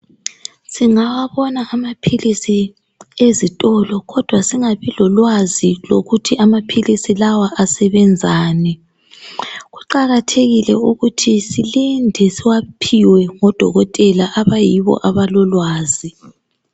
Singawabona amaphilisi ezitolo kodwa singabi lolwazi lokuthi amaphilisi lawa asebenzani. Kuqakathekile ukuthi silinde siwaphiwe ngodokotela abayibo abalolwazi.